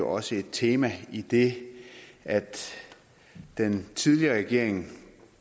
også et tema idet den tidligere regering